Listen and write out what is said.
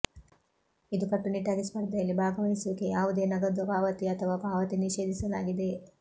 ಇದು ಕಟ್ಟುನಿಟ್ಟಾಗಿ ಸ್ಪರ್ಧೆಯಲ್ಲಿ ಭಾಗವಹಿಸುವಿಕೆ ಯಾವುದೇ ನಗದು ಪಾವತಿ ಅಥವಾ ಪಾವತಿ ನಿಷೇಧಿಸಲಾಗಿದೆ